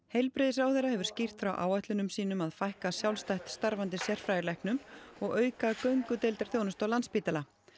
heilbrigðisráðherra hefur skýrt frá áætlunum sínum að fækka sjálfstætt starfandi sérfræðilæknum og auka göngudeildarþjónustu á Landspítala